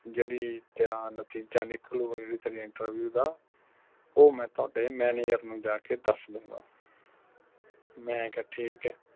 ਜਿਹੜੀ ਤੇਰਾ ਨਤੀਜਾ ਨਿਕੁਲਗਾ ਜਿਹੜੀ ਤੇਰੀ interview ਦਾ ਉਹ ਮੈਂ ਤੁਹਾਡੇ manager ਨੂੰ ਜਾ ਕੇ ਦਸ ਦੁਗਾ ਮੈਂ ਕਿਹਾ ਠੀਕ ਐ